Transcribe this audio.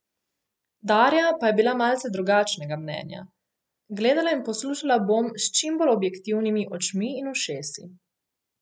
Darja pa je bila malce drugačnega mnenja: "Gledala in poslušala bom s čim bolj objektivnimi očmi in ušesi.